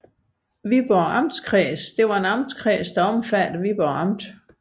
Viborg Amtskreds var en amtskreds omfattende Viborg Amt